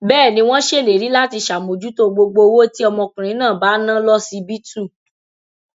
bẹẹ ni wọn ṣèlérí láti ṣàmójútó gbogbo owó tí ọmọkùnrin náà bá ná lọsibítù